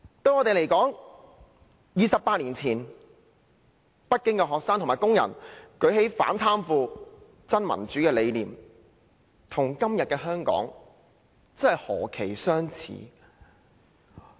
對我們而言 ，28 年前，北京的學生和工人舉起反貪腐、真民主的理念，與今日的香港何其相似？